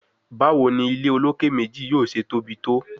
Bawo ni ile oloke meji yoo ṣe tobi to?